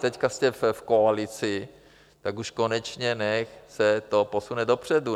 Teď jste v koalici, tak už konečně nechť se to posune dopředu.